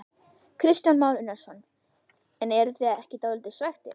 Kristján Már Unnarsson: En eruð þið ekki dálítið svekktir?